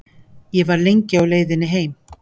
Ég var lengi á leiðinni heim.